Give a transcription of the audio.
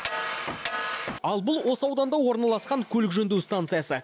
ал бұл осы ауданда орналасқан көлік жөндеу станциясы